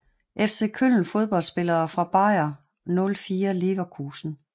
FC Köln Fodboldspillere fra Bayer 04 Leverkusen